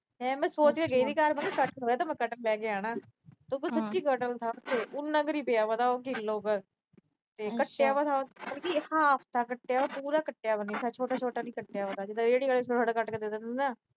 ਫਿਰ ਮੈਂ ਸੋਚ ਕੇ ਗਈ ਸੀ, ਜੇ ਕਟਹਲ ਹੋਇਆ, ਮੈਂ ਕਟਹਲ ਲੈ ਕੇ ਆਣਾ ਤੇ ਉੱਥੇ ਸੱਚੀ ਕਟਹਲ ਥਾ। ਉਨਾ ਕ ਹੀ ਪਿਆ ਥਾ ਕਿਲੋ ਕ। ਤੇ ਕੱਟਿਆ ਹੋਇਆ ਥਾ, ਪੂਰਾ ਕੱਟਿਆ ਵਿਆ ਨਈ ਥਾ, ਛੋਟਾ-ਛੋਟਾ ਨੀ ਕੱਟਿਆ ਵਿਆ ਥਾ, ਜਿਵੇਂ ਰੇਹੜੀ ਆਲੇ ਛੋਟਾ-ਛੋਟਾ ਕੱਟ ਕੇ ਦੇ ਦਿੰਦੇ ਆ ਨਾ।